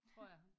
Tror jeg